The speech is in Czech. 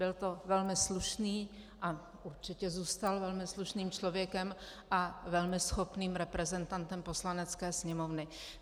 Byl to velmi slušný - a určitě zůstal velmi slušným člověkem a velmi schopným reprezentantem Poslanecké sněmovny.